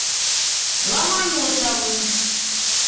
ломоносовым